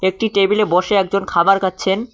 একটি টেবিলে বসে একজন খাবার খাচ্ছেন।